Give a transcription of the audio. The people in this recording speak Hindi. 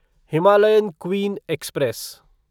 Himalayan queen express